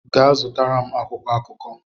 Gaa zụtara m akwụkwọ akụkọ!